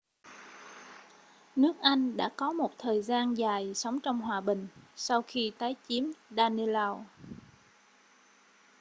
nước anh đã có một thời gian dài sống trong hòa bình sau khi tái chiếm danelaw